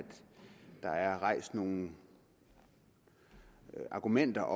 der er rejst nogle argumenter